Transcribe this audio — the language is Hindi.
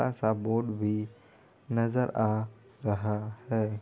बडा -- सा बोर्ड भी नजर आ रहा है।